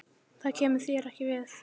Þér kemur það ekki við.